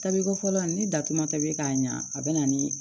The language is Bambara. Tabiko fɔlɔ la ni datuma tɛbi k'a ɲa a bɛ na ni